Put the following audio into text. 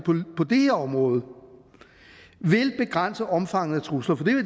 på det her område vil begrænse omfanget af trusler